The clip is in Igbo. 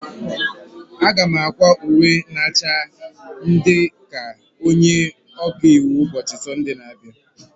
Aga m akwa uwe na acha ndị ka nke onye ọka iwu ụbọchị Sọnde na-abịa.